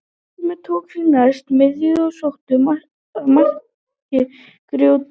Reynismenn tóku því næst miðju og sóttu að marki Gróttu.